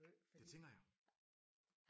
Det tænker jeg